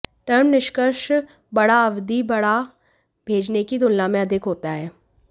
term निष्कर्ष बड़ा अवधि बढ़ा भेजने की तुलना में अधिक होता है